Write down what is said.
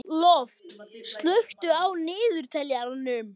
Lofn, slökktu á niðurteljaranum.